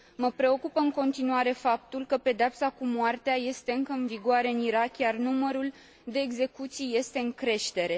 Mă preocupă în continuare faptul că pedeapsa cu moartea este încă în vigoare în Irak, iar numărul de execuții este în creștere.